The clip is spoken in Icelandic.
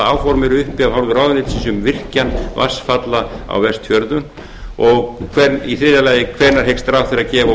áform eru uppi af hálfu ráðuneytisins um virkjun vatnsfalla á vestfjörðum og í þriðja lagi hvenær hyggst ráðherra gefa